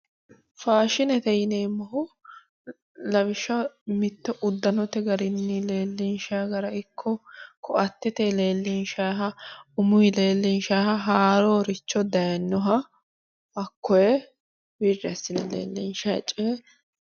Faashinete yineemmohu lawishshaho mitte uddanote garinni leellinshayi gara ikko koattete leellinshayiha umuyi leellinshayiha haarooricho dayinnoha hakkoye wirri assine leellinshayi coye.